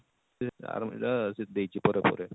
ଆର ଇଟା ସେ ଦେଇଛେ ପରେ ପରେ